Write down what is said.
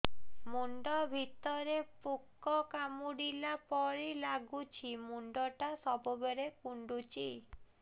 ମୁଣ୍ଡ ଭିତରେ ପୁକ କାମୁଡ଼ିଲା ପରି ଲାଗୁଛି ମୁଣ୍ଡ ଟା ସବୁବେଳେ କୁଣ୍ଡୁଚି